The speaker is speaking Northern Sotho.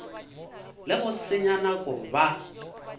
le go senya nako ba